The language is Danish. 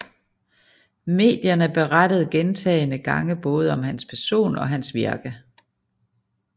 Medierne berettede gentagende gange både om hans person og hans virke